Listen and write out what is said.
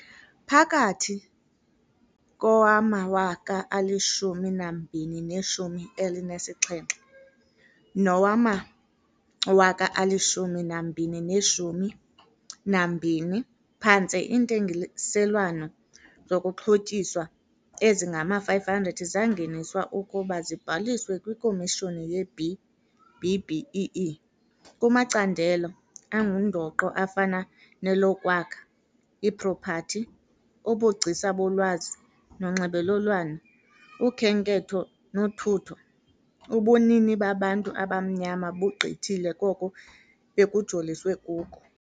Phakathi kowama-2017 nowama-2020, phantse iintengiselwano zokuxhotyiswa ezingama-500 zangeniswa ukuba zibhaliswe kwiKomishoni ye-B-BBEE. Kumacandelo angundoqo afana nelokwakha, ipropathi, ubugcisa bolwazi nonxibelelwano, ukhenketho nothutho, ubunini babantu abamnyama bugqithile koko bekujoliswe kuko.